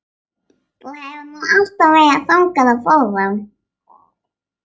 Þú hefur nú alltaf verið þungur á fóðrum.